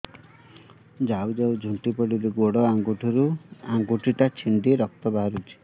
ଯାଉ ଯାଉ ଝୁଣ୍ଟି ପଡ଼ିଲି ଗୋଡ଼ ଆଂଗୁଳିଟା ଛିଣ୍ଡି ରକ୍ତ ବାହାରୁଚି